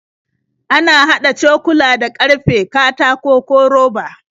Ana haɗa cokula da ƙarfe, katako, ko roba.